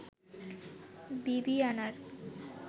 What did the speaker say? বিবিআনার